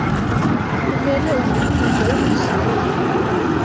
umele ukhululwe ungahlawuli